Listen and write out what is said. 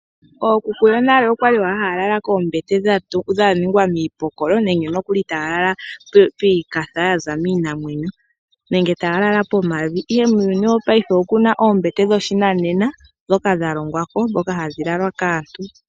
Ookuku yonale okwali owala haya lala koombete dha ningwa miipokolo nenge nokuli taya lala poombaza yaza miinamwenyo nenge taya lala pomavi. Ihe muuyuni wopayife okuna oombete dhoshinena dhoka dha longwa po. Dhoka hadhi lalwa kaantu.